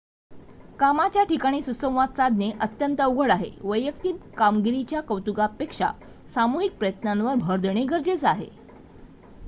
कामाच्या ठिकाणी सुसंवाद साधणे अत्यंत अवघड आहे वैयक्तिक कामगिरीच्या कौतुकापेक्षा सामूहिक प्रयत्नांवर भर देणे गरजेचे आहे